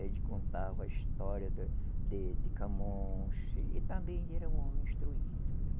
Ele contava a história da de de Camões, ele também era um homem instruído.